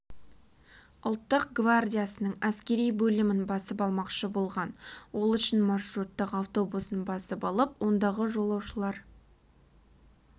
ұлттық гвардиясының әскери бөлімін басып алмақшы болған ол үшін маршруттық автобусын басып алып ондағы жолаушылар